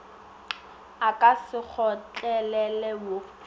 a ka se kgotlelelwe wo